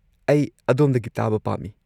-ꯑꯩ ꯑꯗꯣꯝꯗꯒꯤ ꯇꯥꯕ ꯄꯥꯝꯃꯤ ꯫